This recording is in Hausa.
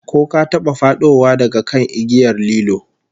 Ko ka taba fadowa daga kan igiyar lilo?